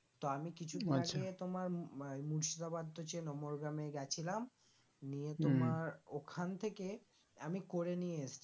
তো আমি কিছুদিন আগে তোমার আহ এই মুর্শিদাবাদ তো চেনো মোরগ্রামে গেছিলাম নিয়ে তোমার ওখান থেকে আমি করে নিয়ে এসছি